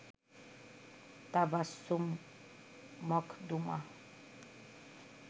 Tabassum Makhduma